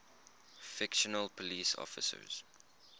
fictional police officers